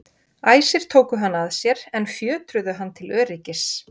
Æsir tóku hann að sér en fjötruðu hann til öryggis.